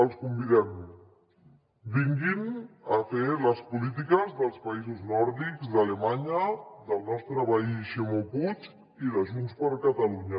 els convidem vinguin a fer les polítiques dels països nòrdics d’alemanya del nostre veí ximo puig i de junts per catalunya